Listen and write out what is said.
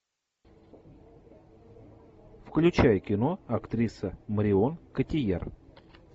включай кино актриса марион котийяр